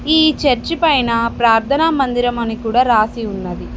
ఈ చర్చి పైన ప్రార్థన మందిరం అని కూడా రాసి ఉన్నది.